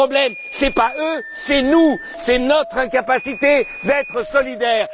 Le problème, ce n'est pas eux, c'est nous, c'est notre incapacité d'être solidaires.